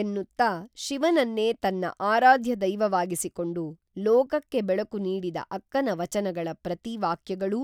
ಎನ್ನುತ್ತಾ ಶಿವನನ್ನೇ ತನ್ನ ಆರಾಧ್ಯದೈವವಾಗಿಸಿಕೊಂಡು ಲೋಕಕ್ಕೆ ಬೆಳಕು ನೀಡಿದ ಅಕ್ಕನ ವಚನಗಳ ಪ್ರತಿ ವಾಕ್ಯಗಳೂ